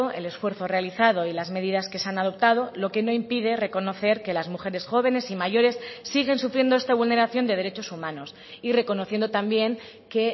el esfuerzo realizado y las medidas que se han adoptado lo que no impide reconocer que las mujeres jóvenes y mayores siguen sufriendo esta vulneración de derechos humanos y reconociendo también que